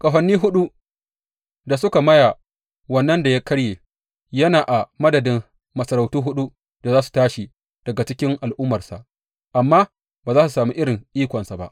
Ƙahoni huɗu da suka maya wannan da ya karye yana a madadin masarautu huɗu da za su tashi daga cikin al’ummarsa amma ba za su sami irin ikonsa ba.